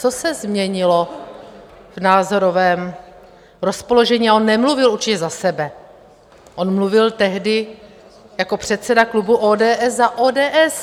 Co se změnilo v názorovém rozpoložení - a on nemluvil určitě za sebe, on mluvil tehdy jako předseda klubu ODS za ODS.